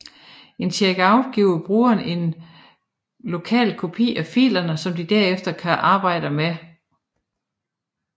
Et checkout giver brugeren en lokal kopi af filerne som de derefter kan arbejde med